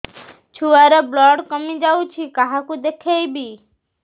ଛୁଆ ର ବ୍ଲଡ଼ କମି ଯାଉଛି କାହାକୁ ଦେଖେଇବି